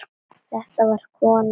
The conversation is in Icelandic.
Þetta var kona.